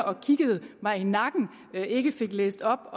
og kiggede mig i nakken ikke fik læst op